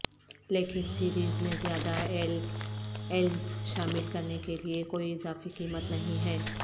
لیکن سیریز میں زیادہ ایل ایلز شامل کرنے کے لئے کوئی اضافی قیمت نہیں ہے